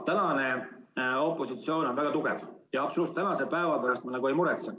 Praegune opositsioon on väga tugev ja tänase päeva pärast ma üldse ei muretse.